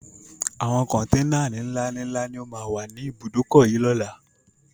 Àwọn kọntẹ́ẹ́nà ní ńlá ni ńlá ni ó má wá ní ibùdókọ̀ yìí ni ọ̀la